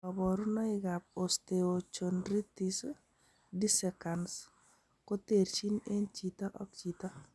Koborunoikab osteochondritis dissecans koterchin en chito ak chito